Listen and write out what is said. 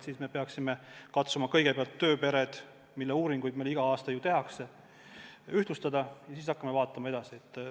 Siis me peaksime katsuma kõigepealt tööpered, mille uuringuid meil igal aastal ju tehakse, ühtlustada ja siis hakkama edasi vaatama.